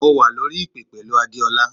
Mo wà lórí ìpè pẹ̀lú Adeola.